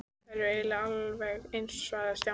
Þær eru eiginlega alveg eins svaraði Stjáni.